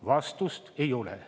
Vastust ei ole.